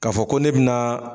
K'a fɔ ko ne bɛ na